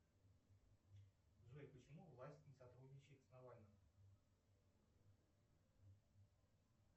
джой почему власть не сотрудничает с навальным